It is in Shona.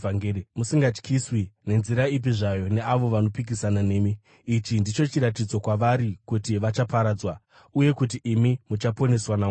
musingatyiswi nenzira ipi zvayo neavo vanopikisana nemi. Ichi ndicho chiratidzo kwavari kuti vachaparadzwa, uye kuti imi muchaponeswa naMwari.